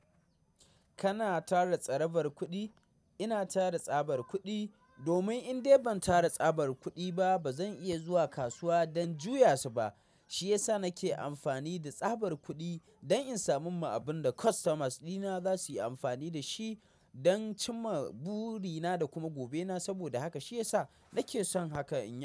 Kana tara tsarabar kuɗi? Ina tara tsabar kuɗi domin in dai ban tara tsabar kuɗi ba, ba zan iya zuwa kasuwa don juya su ba. Shi ya sa nake amfani da tsabar kuɗi don in samu ma abin da customers dina za su yi amfani da shi don cimma burina da kuma gobe na. Saboda haka shi ya sa nake son haka in ya.